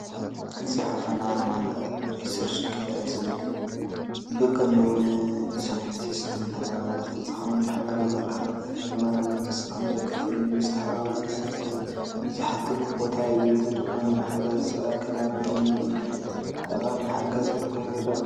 ጽሑፍን ኣርማን ሪሰርችጌት ዝብል ብቐንዱ ንሳይንቲስትን ተመራመርትን ዝኸውን ማሕበራዊ መራኸቢታት እዩ። ተመራመርቲ ስርሖም ዘካፍሉሉ፣ ዝተሓባበሩሉን ሕቶታት ዝሓቱሉን ቦታ እዩ። እዚ ድማ ንማሕበረሰብ ኣካዳሚያውን ምርምርን ጠቓምን ሓጋዝን ኮይኑ ይረአ።